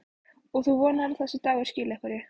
Og þú vonar að þessi dagur skili einhverju?